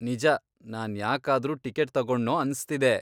ನಿಜ, ನಾನ್ ಯಾಕಾದ್ರೂ ಟಿಕೆಟ್ ತಗೊಂಡ್ನೋ ಅನ್ಸ್ತಿದೆ.